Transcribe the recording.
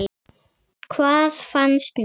Hvað fannst mér?